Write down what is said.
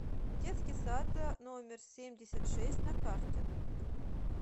детский сад номер семьдесят шесть на карте